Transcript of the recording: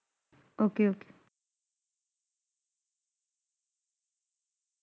Okay Okay